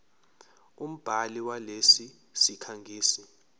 umbhali walesi sikhangisi